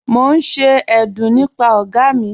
Mo n ṣe ẹ̀dún nípà ọ̀ga mi..